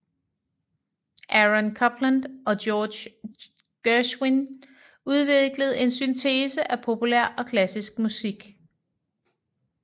Aaron Copland og George Gershwin udviklede en syntese af populær og klassisk musik